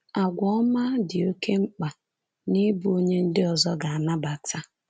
Àgwà ọma “dị oké mkpa n’ịbụ onye ndị ọzọ ga-anabata